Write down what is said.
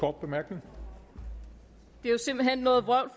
det er jo simpelt hen noget vrøvl